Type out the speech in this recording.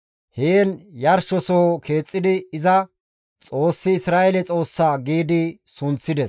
Heen yarshosoho keexxidi iza, «Xoossi Isra7eele Xoossa» gi sunththides.